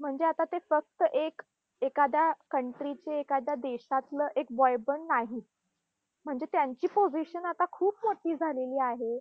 म्हणजे आता ते फक्त एक एखाद्या country चे, एखाद्या देशातलं एक boy पण नाहीत. म्हणजे त्यांची position आता खूप मोठी झालेली आहे.